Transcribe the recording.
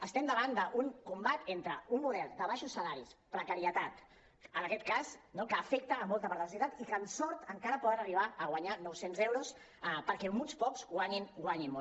estem davant d’un combat entre un model de baixos salaris precarietat en aquest cas no que afecta molta part de la societat i que amb sort encara poden arribar a guanyar nou cents euros perquè uns pocs guanyin molt